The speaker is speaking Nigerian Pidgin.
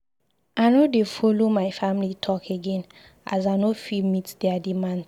I no dey folo my family talk again as I no fit meet there demands.